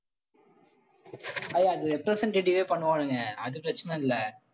அய்ய அது representative வே பண்ணுவானுங்க அது பிரச்சனை இல்லை.